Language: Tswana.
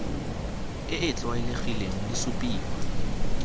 e e tlwaelegileng di supiwa